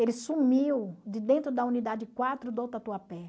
Ele sumiu de dentro da unidade quatro do Tatuapé.